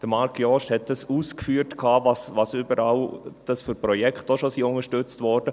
Marc Jost hat ausgeführt, welche Projekte überall schon unterstützt wurden.